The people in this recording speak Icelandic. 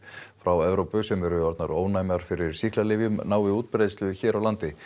frá Evrópu sem eru orðnar ónæmar fyrir sýklalyfjum nái útbreiðslu hér